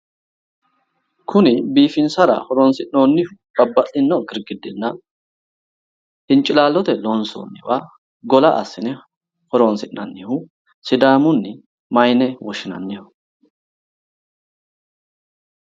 Kuni biifinsara horonsi'noonni babbaxino girgirdina hincilaalote loonsoonniwa gola assine horonsi'nannihu sidaamunni mayyine woshshinanniho?